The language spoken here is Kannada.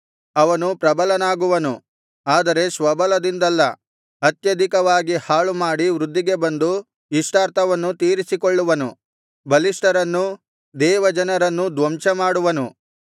ಅವನು ಪ್ರಬಲನಾಗುವನು ಆದರೆ ಸ್ವಬಲದಿಂದಲ್ಲ ಅತ್ಯಧಿಕವಾಗಿ ಹಾಳುಮಾಡಿ ವೃದ್ಧಿಗೆ ಬಂದು ಇಷ್ಟಾರ್ಥವನ್ನು ತೀರಿಸಿಕೊಳ್ಳುವನು ಬಲಿಷ್ಠರನ್ನೂ ದೇವಜನರನ್ನೂ ಧ್ವಂಸಮಾಡುವನು